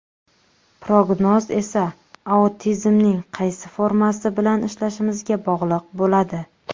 Prognoz esa autizmning qaysi formasi bilan ishlashimizga bog‘liq bo‘ladi.